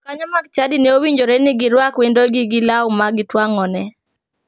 Jokanyo mag chadi ne owinjore ni girwak wendogi gi law ma gituang'one.